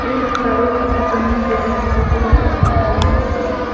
ia noksao kal·chakani biap damsako nikna gita man·a.